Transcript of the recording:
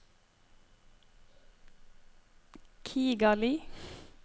Kigali